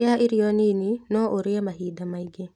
Rĩa irio nini no ũrĩe mahinda maĩngĩ.